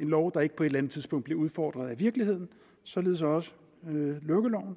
en lov der ikke på et eller andet tidspunkt bliver udfordret af virkeligheden således også lukkeloven